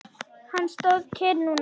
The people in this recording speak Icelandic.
Hann stóð kyrr núna.